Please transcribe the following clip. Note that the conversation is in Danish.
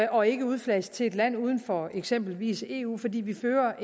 og ikke udflages til et land uden for eksempelvis eu fordi vi fører